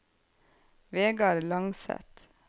Vegar Langseth